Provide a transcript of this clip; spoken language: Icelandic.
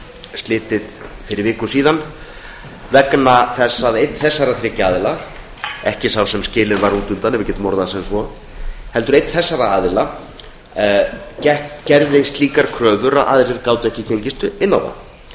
slitið fyrir viku vegna þess að einn þessara þriggja aðila ekki sá sem skilinn var útundan ef við getum orðað það svo gerði slíkar kröfur að aðrir gátu ekki gengist inn á það